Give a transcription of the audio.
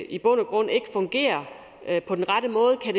i bund og grund ikke fungerer på den rette måde kan